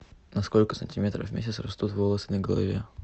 на сколько сантиметров в месяц растут волосы на голове